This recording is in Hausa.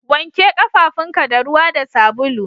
Wanke kafafunka da ruwa da sabulu